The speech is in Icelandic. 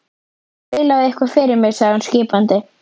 Spilaðu eitthvað fyrir mig sagði hún skipandi.